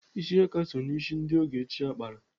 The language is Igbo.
Ịsị aka so n'isi ndị oge ochie kpara.